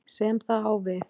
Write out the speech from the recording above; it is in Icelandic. sem það á við.